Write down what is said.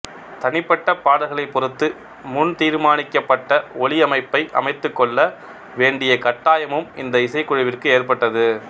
தனிப்பட்ட பாடல்களைப் பொறுத்து முன் தீர்மானிக்கப்பட்ட ஒளியமைப்பை அமைத்துக்கொள்ள வேண்டிய கட்டாயமும் இந்த இசைக்குழுவிற்கு ஏற்பட்டது